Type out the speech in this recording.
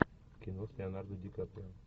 кино с леонардо ди каприо